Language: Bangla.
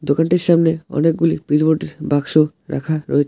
দোকানটির সামনে অনেকগুলি পিচবোর্ড বাক্স রাখা রয়েছে।